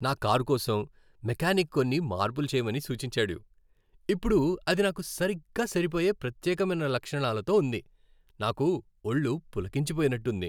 నా కారు కోసం మెకానిక్ కొన్ని మార్పులు చేయమని సూచించాడు, ఇప్పుడు అది నాకు సరిగ్గా సరిపోయే ప్రత్యేకమైన లక్షణాలతో ఉంది. నాకు ఒళ్ళు పులకించిపోయినట్టుంది.